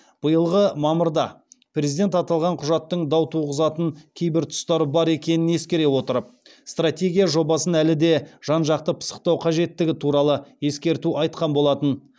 биылғы мамырда президент аталған құжаттың дау туғызатын кейбір тұстары бар екенін ескере отырып стратегия жобасын әлі де жан жақты пысықтау қажеттігі туралы ескерту айтқан болатын